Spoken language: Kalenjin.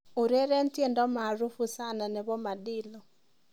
Ureren tiendo'maarufu sana' nebo Madilu